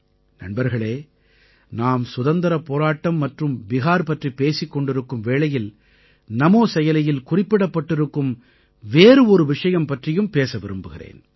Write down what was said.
நண்பர்களே நாம் சுதந்திரப் போராட்டம் மற்றும் பிஹார் பற்றிப் பேசிக் கொண்டிருக்கும் வேளையில் நமோ செயலியில் குறிப்பிடப்படப்பட்டிருக்கும் வேறு ஒரு விஷயம் பற்றியும் பேச விரும்புகிறேன்